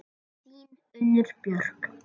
Þín, Unnur Björk.